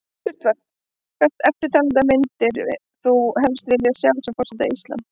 Spurt var: Hvert eftirtalinna myndir þú helst vilja sjá sem forseta Íslands?